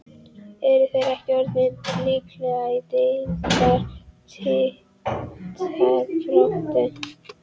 Eru þeir ekki orðnir líklegir í deildar titilbaráttu??